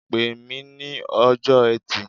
Pe mi ní ọjọ́ Ẹtì.